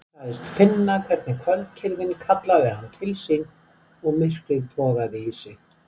Hann sagðist finna hvernig kvöldkyrrðin kallaði hann til sín og myrkrið togaði í sig.